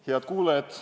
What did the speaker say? Head kuulajad!